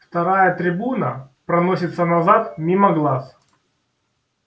вторая трибуна проносится назад мимо глаз